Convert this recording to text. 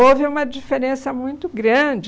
Houve uma diferença muito grande.